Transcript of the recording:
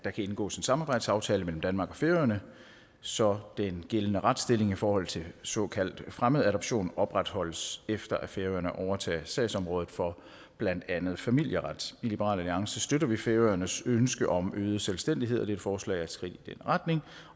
der kan indgås en samarbejdsaftale mellem danmark og færøerne så den gældende retsstilling i forhold til såkaldt fremmedadoption opretholdes efter at færøerne overtager sagsområdet for blandt andet familieret i liberal alliance støtter vi færøernes ønske om øget selvstændighed og dette forslag er et skridt i den retning